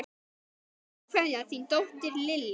Hinsta kveðja, þín dóttir, Lilja.